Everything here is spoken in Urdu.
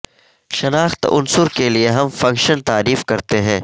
شناخت عنصر کے لیے ہم فنکشن تعریف کرتے ہیں